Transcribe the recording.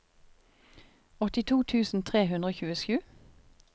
åttito tusen tre hundre og tjuesju